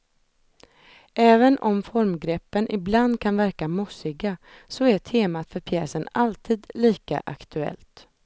Även om formgreppen ibland kan verka mossiga, så är temat för pjäsen alltid lika aktuellt.